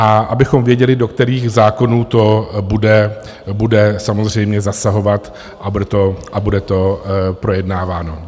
- A abychom věděli, do kterých zákonů to bude samozřejmě zasahovat a bude to projednáváno.